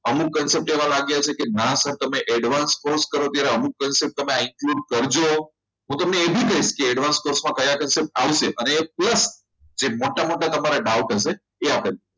અમુક concept એવા લાગ્યા છે કે ના સર તમે advanced post કરો ત્યારે અમુક concept i think સમજો હું તમને એવી કહીશ advanced course કયા concept આવશે અને course મોટા નંબરે જે doubt હશે એ આપણે